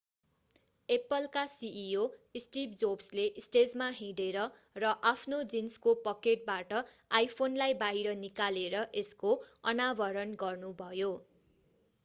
Apple apple का CEO Steve Jobs steve jobsले स्टेजमा हिँडेर र आफ्नो जीन्सको पकेटबाट आइफोन iphoneलाई बाहिर निकालेर यसको अनावरण गर्नुभयो।